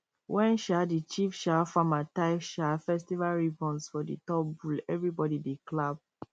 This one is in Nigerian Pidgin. when um the chief um farmer tie um festival ribbons for the top bull everybody dey clap